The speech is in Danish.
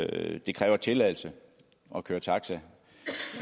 det kræver tilladelse at køre taxa